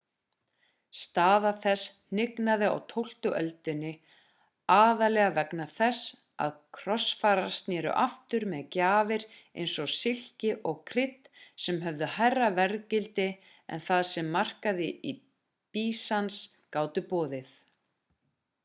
staða þess hnignaði á tólftu öldinni aðallega vegna þess að krossfararnir snéru aftur með gjafir eins og silki og krydd sem höfðu hærra verðgildi en það sem markaðir í býsans gátu boðið